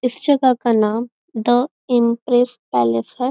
इस जगह का नाम द इंप्रेस पॅलेस है।